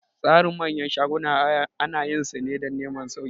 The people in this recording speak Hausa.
Tsarin manyan shaguna ana yin su ne dan neman sauki